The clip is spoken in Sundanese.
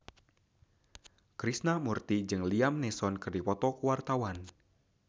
Krishna Mukti jeung Liam Neeson keur dipoto ku wartawan